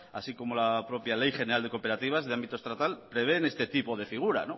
así como la propia ley general de cooperativas de ámbito estatal prevén este tipo de figura